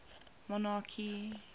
monarchy